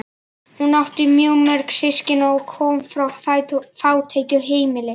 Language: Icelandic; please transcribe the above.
Hann átti mjög mörg systkini og kom frá fátæku heimili.